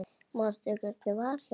Manstu hvernig var hjá mér?